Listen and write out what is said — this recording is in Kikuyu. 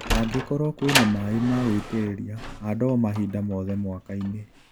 Angĩkorwo kwĩna maĩ magũitĩrĩria ,handa o mahinda mothe mwakainĩ.